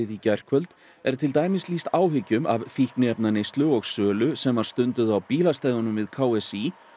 í gærkvöld er til dæmis lýst áhyggjum af því fíkniefnaneyslu og sölu sem var stunduð á bílastæðunum við k s í